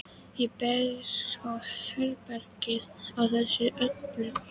Ég ber ábyrgð á þessu öllu saman, hélt Agnes áfram.